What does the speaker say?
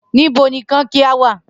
Nibo ni kankia wa?